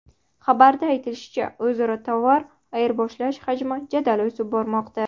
Xabarda aytilishicha, o‘zaro tovar ayirboshlash hajmi jadal o‘sib bormoqda.